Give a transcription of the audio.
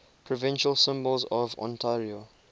provincial symbols of ontario